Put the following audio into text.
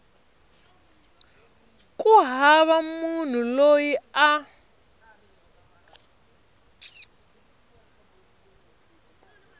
ku hava munhu loyi a